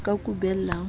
o ka kubellang ho se